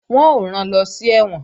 Wọ́n ó rán lọ sí ẹ̀wọ̀n